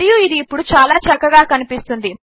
మరియు ఇది ఇప్పుడు చాలా చక్కగా కనిపిస్తున్నది